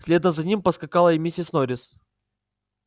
следом за ним поскакала и миссис норрис